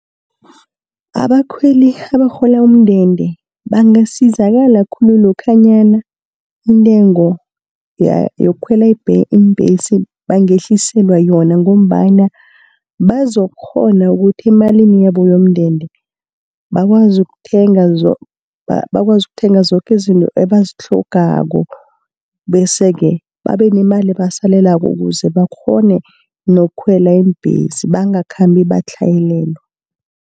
Abakhweli abarhola umndende bangasizakala khulu, lokhanyana intengo yokukhwela iimbhesi bangehliselwa yona, ngombana bazokukghona ukuthi emalini yabo yomndende, bakwazi ukuthenga zoke izinto ebazitlhogako. Bese-ke babe nemali ebasalelako, ukuze bakghone nokukhwela iimbhesi bangakhambi batlhayelelwa.